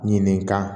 Ɲininka